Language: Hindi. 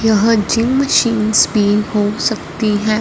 यहां जिम सिम्स भी हो सकती हैं।